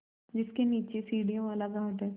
जिसके नीचे सीढ़ियों वाला घाट है